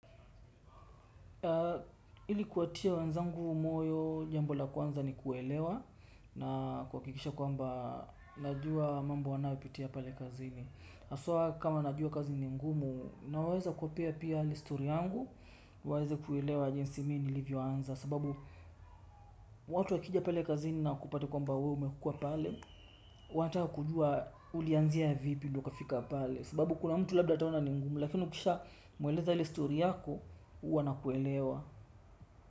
Ili kuwatia wenzangu moyo jambo la kwanza ni kuelewa na kuhakikisha kwamba najua mambo wanayopitia pale kazini. Haswa kama najua kazi ni ngumu, naweza kuwapea pia stori yangu, waweza kuelewa jinsi mimi nilivyoanza sababu watu wakija pale kazini na wakupate kwamba wewe umekuwa pale, wanataka kujua ulianzia vipi ndiyo ukafika pale. Sababu kuna mtu labda ataona ni ngumu, lakini ukisha mweleza ile stori yako, huwa ana kuelewa.